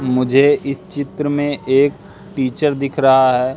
मुझे इस चित्र में एक टीचर दिख रहा है।